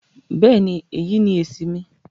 Bẹ́ẹ̀ni, èyí ni èṣì mi